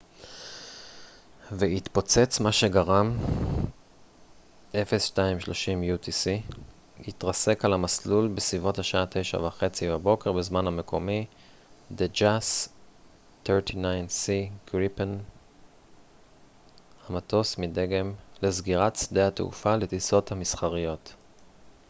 המטוס מדגם the jas 39c gripen התרסק על המסלול בסביבות השעה 9:30 בבוקר בזמן המקומי 0230 utc והתפוצץ מה שגרם לסגירת שדה התעופה לטיסות מסחריות